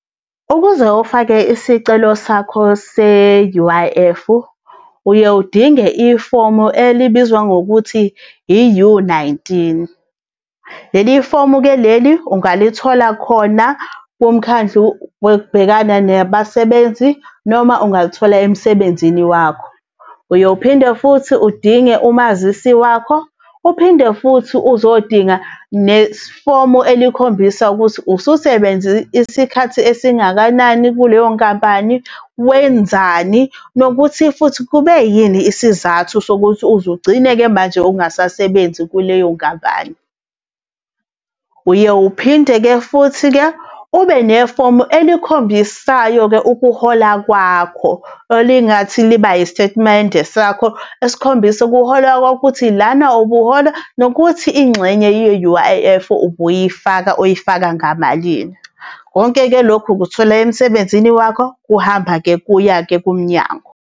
Ukuze ufake isicelo sakho se-U_I_F, uye udinge ifomu elibizwa ngokuthi i-U-nineteen. Leli fomu-ke leli ungalithola khona kumkhandlu wokubhekana nabasebenzi noma ungalithola emsebenzini wakho. Uyophinde futhi udinge umazisi wakho, uphinde futhi uzodinga nefomu elikhombisa ukuthi ususebenze isikhathi esingakanani kuleyo nkampani, wenzani nokuthi futhi kube yini isizathu sokuthi uzugcine-ke manje ungasasebenzi kuleyo nkampani. Uye uphinde-ke futhi-ke ube nefomu elikhombisayo-ke ukuhola kwakho, elingathi liba isitatimende sakho, esikhombisa ukuhola kwakho ukuthi lana ubuhola nokuthi ingxenye ye-U_I_F ubuyifaka uyifaka ngamalini. Konke-ke lokhu ukuthola emsebenzini wakho kuhamba kuya-ke kumnyango.